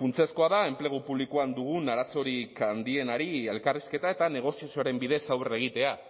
funtsezkoa da enplegu publikoan dugun arazorik handienari elkarrizketa eta negoziazioaren bidez aurre egitea